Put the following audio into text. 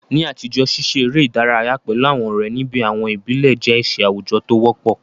Ní àtijọ́, ṣíṣe eré ìdárayá pẹ̀lú àwọn ọ̀rẹ́ ní àwọn ibi ìbílẹ̀ jẹ́ iṣẹ́ àwùjọ tí ó wọ́pọ̀.